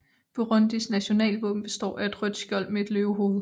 Burundis nationalvåben består af et rødt skjold med et løvehoved